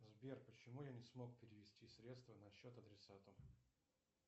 сбер почему я не смог перевести средства на счет адресата